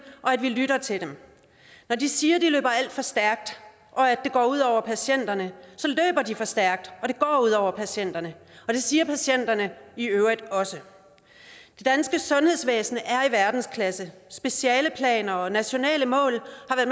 og at vi lytter til dem når de siger de løber alt for stærkt og at det går ud over patienterne så løber de for stærkt og det går ud over patienterne det siger patienterne i øvrigt også det danske sundhedsvæsen er i verdensklasse specialeplaner og nationale mål